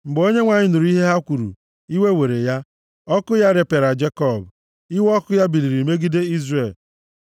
Mgbe Onyenwe anyị nụrụ ihe ha kwuru, iwe were ya; ọkụ ya repịara Jekọb, iwe ọkụ ya biliri megide Izrel.